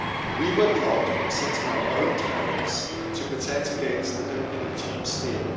We were blocked from setting our own tariffs to protect against the dumping of cheap steel.